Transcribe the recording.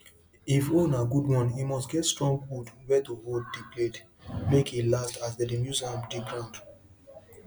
if hoe na good one e must get strong wood where to hold the blade make e last as them dey use am dig ground